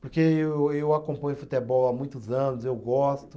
Porque eu eu acompanho futebol há muitos anos, eu gosto.